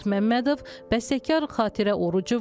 Bəstəkar Xatirə Oruçova.